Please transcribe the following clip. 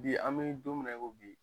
Bi an be don min na i ko bi